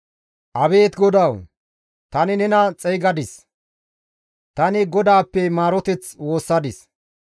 Abeet GODAWU! Tani nena xeygadis; tani Godaappe maaroteth woossadis;